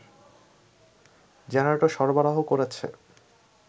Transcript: generator সরবরাহ করেছে